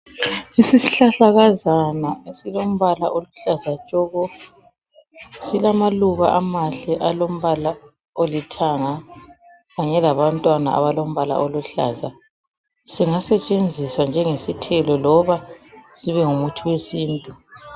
Isihlahlakazana esilombala oluhlaza tshoko. Silamaluba amahle alombala olithanga kanye labantwana abalombala oluhlaza. Singasetshenziswa njengesithelo loba sibengumuthi wesintu.